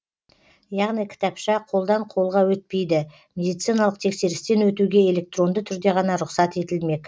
яғни кітапша қолдан қолға өтпейді медициналық тексерістен өтуге электронды түрде ғана рұқсат етілмек